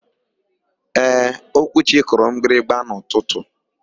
Ee, Okwuchi kụrụ mgbịrịgba n'ụtụtụ.